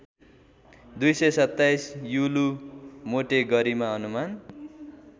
२२७ युलू मोटे गरिमा अनुमान